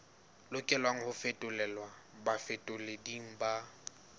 lokelang ho fetolelwa bafetoleding ba